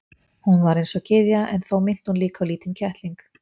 Hún var eins og gyðja en þó minnti hún líka á lítinn kettling.